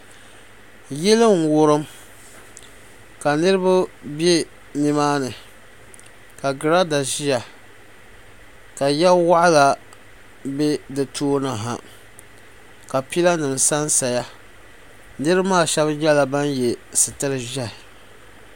yili n wurim ka niriba be ni maa ni ka giraada zaya ka ya waɣila be di tooni ha ka pilanima sa n saya niriba maa shaba nyɛla ban ye sitir' ʒehi